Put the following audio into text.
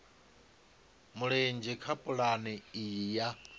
mulenzhe kha pulane iyi ya